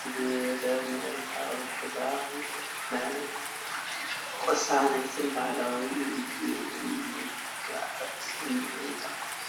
ዝበለ መሬታዊ ሕብርታትን ናይ ቅሳነትን ባህላዊ ምዝንጋዕን ስምዒት ይፈጥር።